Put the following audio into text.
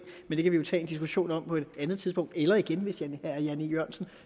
men det kan vi jo tage en diskussion om på et andet tidspunkt eller igen hvis herre jan e jørgensen